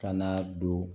Ka na don